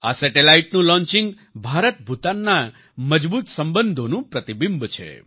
આ સેટેલાઈટનું લોન્ચિંગ ભારતભૂતાનના મજબૂત સંબંધોનું પ્રતિબિંબ છે